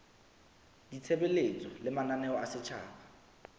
ditshebeletso le mananeo a setjhaba